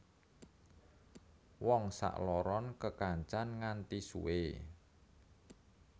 Wong sakloron kekancan nganti suwe